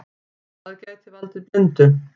Það gæti valdið blindu.